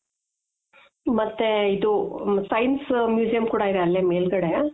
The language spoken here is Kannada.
ಮತ್ತೆ ಇದು science museum ಕೂಡ ಇದೆ ಅಲೆ ಮೇಲ್ಗಡೇ